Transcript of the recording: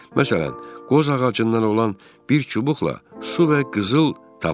Məsələn, qoz ağacından olan bir çubuqla su və qızıl tapır.